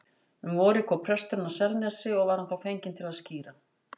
Um vorið kom presturinn að Selnesi og var hann þá fenginn til að skíra.